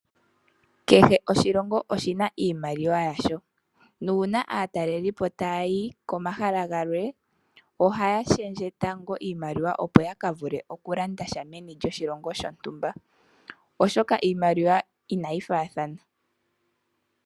Kehe oshilongo oshina iimaliwa yasho. Nuuna aatalelipo tayayi komahala galwe, ohaya shendje tango Iimaliwa, opo yakavule okulandasha meni lyoshilongo shontumba, oshoka iimaliwa inayi faathana.